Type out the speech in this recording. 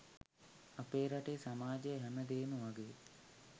අපේ රටේ සමාජය හැම දේම වගේ